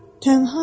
Tənhayam.